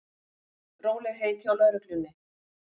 Rólegheit hjá lögreglunni